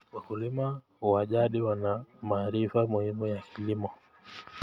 Wakulima wa jadi wana maarifa muhimu ya kilimo.